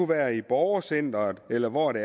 være i borgercenteret eller hvor det